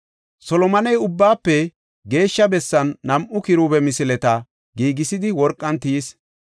Solomoney Ubbaafe Geeshsha Bessan nam7u kiruube misileta giigisidi worqan tiyis.